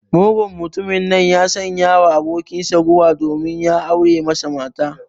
Mugun mtumin nan ya sanyawa abokinsa guba domin ya aure masa mata.